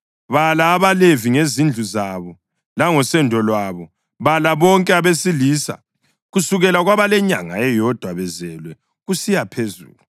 “Bala abaLevi ngezindlu zabo langosendo lwabo. Bala bonke abesilisa kusukela kwabalenyanga eyodwa bezelwe kusiya phezulu.”